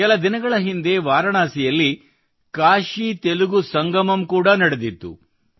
ಕೆಲ ದಿನಗಳ ಹಿಂದೆ ವಾರಣಾಸಿಯಲ್ಲಿ ಕಾಶಿತೆಲುಗು ಸಂಗಮಂ ಕೂಡ ನಡೆದಿತ್ತು